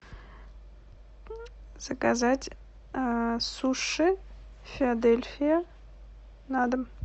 заказать суши филадельфия на дом